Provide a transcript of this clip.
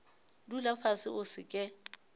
dula fase o se ke